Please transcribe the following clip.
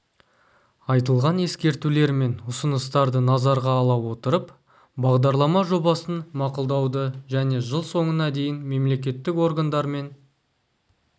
айтылған ескертулер мен ұсыныстарды назарға ала отырып бағдарлама жобасын мақұлдауды және жыл соңына дейін мемлекеттік органдармен